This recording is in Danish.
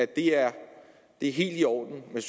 det er helt i orden med